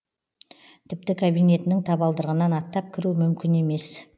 тіпті кабинетінің табалдырығынан аттап кіру мүмкін емес